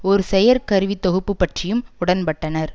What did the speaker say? ஒரு செயற் கருவித் தொகுப்பு பற்றியும் உடன்பட்டனர்